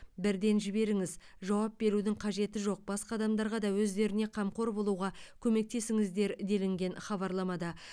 бірден жіберіңіз жауап берудің қажеті жоқ басқа адамдарға да өздеріне қамқор болуға көмектесіңіздер делінген хабарламада